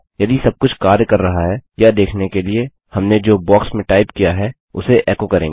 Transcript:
यदि सबकुछ कार्य कर रहा है यह देखने के लिए हमने जो बॉक्स में टाइप किया है उसे एको करेंगे